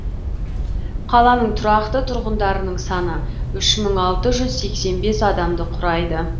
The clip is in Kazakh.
қаланың тұрақты тұрғындарының саны үш мың алты жүз сексен бес адамды құрайды